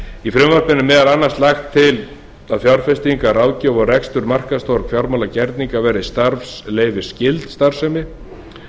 í frumvarpinu er meðal annars lagt til að fjárfestingar ráðgjöf og rekstur markaðstorgs fjármálagerninga verði starfsleyfisskyld starfsemi